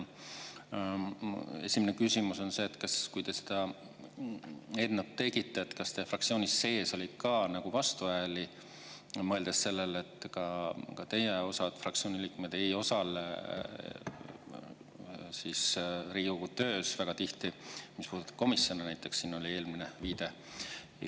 Esimene küsimus on see, et kui te seda eelnõu tegite, kas teie fraktsiooni sees oli ka vastuhääli, mõeldes sellele, et ka osa teie fraktsiooni liikmeid ei osale Riigikogu töös väga tihti, mis puudutab komisjone näiteks, nagu siin oli eelmine viide.